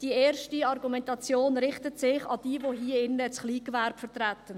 Die erste Argumentation richtet sich an jene hier im Saal, die das Kleingewerbe vertreten.